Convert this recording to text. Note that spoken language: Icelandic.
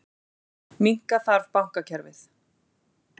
Minnka þarf bankakerfið